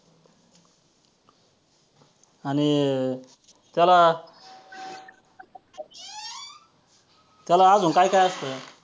आणि त्याला त्याला अजून काय काय असतं.